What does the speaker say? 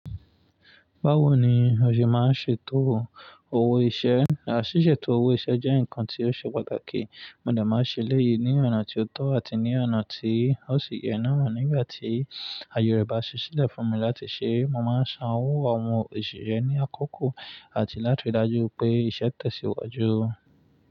Báwo ni o ṣe máa ṣe tòwò owó iṣẹ́? Ṣíṣe tòwò iṣẹ́ jẹ́ nǹkan tí ó ṣe pàtàkì, mo de máa ṣe elẹ́yìn ní ọ̀nà tí ó tọ́ àti ní ọ̀nà tí ó sì yẹ náà. Nígbà tí ayerẹ́ bá ṣi sílẹ̀ fún mi láti ṣẹ́, mo máa ń san owó àwọn òṣìṣẹ́ ní àkókò àti láti ri dájú pé iṣẹ́ tẹ̀síwájú.